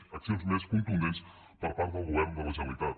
a accions més contundents per part del govern de la generalitat